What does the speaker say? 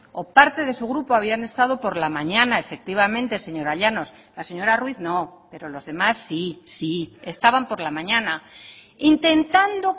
o parte de su grupo habían estado por la mañana efectivamente señora llanos la señora ruiz no pero los demás sí estaban por la mañana intentando